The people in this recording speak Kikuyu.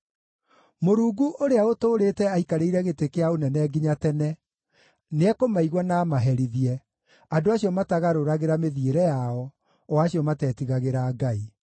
Mũrungu ũrĩa ũtũũrĩte aikarĩire gĩtĩ kĩa ũnene nginya tene, nĩekũmaigua na amaherithie, andũ acio matagarũragĩra mĩthiĩre yao, o acio matetigagĩra Ngai.